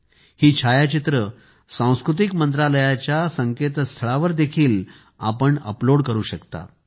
तुम्ही ही छायाचित्रे सांस्कृतिक मंत्रालयाच्या संकेतस्थळावर देखील अपलोड करू शकता